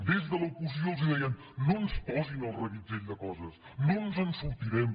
des de l’oposició els deien no ens posin el reguitzell de coses no ens en sortirem